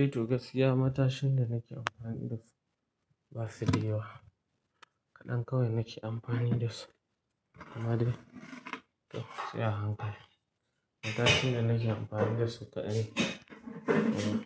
Eh toh gaskiya matashin da nake amfani da su basu da yawa, kaɗan kawai nake amfani da su. Amma dai to sai a hankali. Matashin da nake amfani da su kaɗai uh